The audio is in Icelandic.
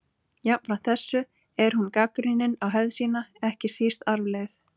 Jafnframt þessu er hún gagnrýnin á hefð sína, ekki síst arfleifð